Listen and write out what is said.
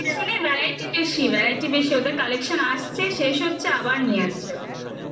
variety বেশি variety বেশি ওদের collection আসছে শেষ হচ্ছে আবার নিয়ে আসছে ওরা